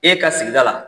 E ka sigida la